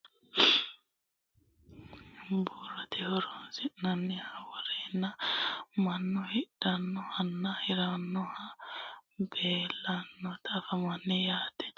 duuchu dani uduunne roorenka budunniha worroonniwa doogote qaccera mine ikko biirote horonsi'nanniha worreenna mannu hidhannohunna hirannohu leellanni noota anfanni yaate